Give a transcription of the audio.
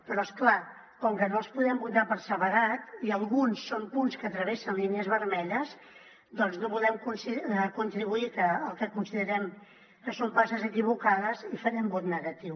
però és clar com que no els podem votar per separat i alguns són punts que travessen línies vermelles doncs no volem contribuir al que considerem que són passes equivocades i hi farem vot negatiu